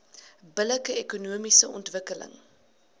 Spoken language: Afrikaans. billike ekonomiese ontwikkeling